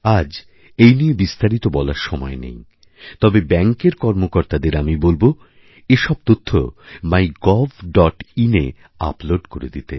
আজ এই নিয়ে বিস্তারিত বলার সময় নেই তবেব্যাঙ্কের কর্মকর্তাদের আমি বলব এসব তথ্য mygovin এ আপলোড করে দিতে